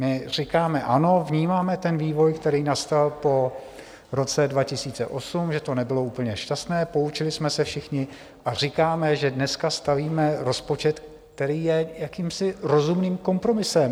My říkáme ano, vnímáme ten vývoj, který nastal po roce 2008, že to nebylo úplně šťastné, poučili jsme se všichni a říkáme, že dneska stavíme rozpočet, který je jakýmsi rozumným kompromisem.